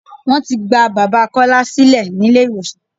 Wọ́n ti gba bàbá Kọ́lá sílẹ̀ ní ilé ìwòsàn.